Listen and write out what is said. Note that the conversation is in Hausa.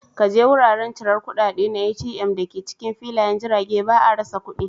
Ka je wuraren cirar kudade na ATM da ke cikin Filayen Jirage, ba a rasa kudi.